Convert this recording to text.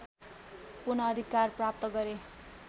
पुनःअधिकार प्राप्त गरे